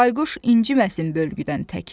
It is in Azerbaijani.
Bayquş inciməsin bölgüdən təki.